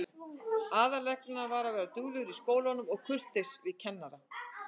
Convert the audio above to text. Aðalreglan er að vera duglegur í skólanum og kurteis við kennarana.